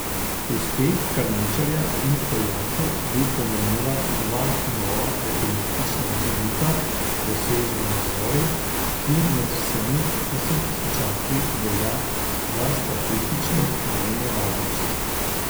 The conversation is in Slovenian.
Uspeha Karničarja in Poljakov bi pomenila dva nova alpinistična mejnika, dosežena na gori, ki med vsemi osemtisočaki velja za statistično najnevarnejšo.